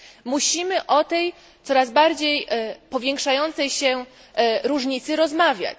Musimy o tej coraz bardziej powiększającej się różnicy rozmawiać.